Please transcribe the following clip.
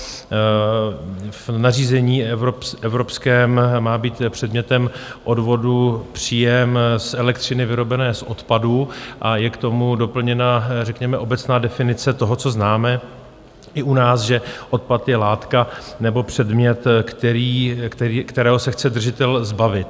V nařízení evropském má být předmětem odvodu příjem z elektřiny vyrobené z odpadů a je k tomu doplněna řekněme obecná definice toho, co známe i u nás, že odpad je látka nebo předmět, kterého se chce držitel zbavit.